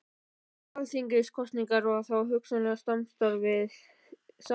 Um nýjar alþingiskosningar og þá hugsanlega samstarf við Samfylkinguna?